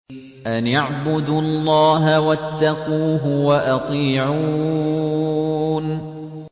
أَنِ اعْبُدُوا اللَّهَ وَاتَّقُوهُ وَأَطِيعُونِ